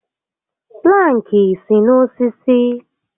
Plankị si n'osisi